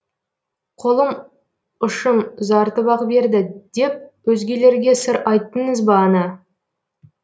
қолым ұшын ұзартып ақ берді деп өзгелерге сыр айттыңыз ба ана